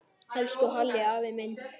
Elsku Halli afi minn.